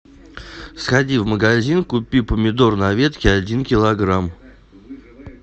сходи в магазин купи помидоры на ветке один килограмм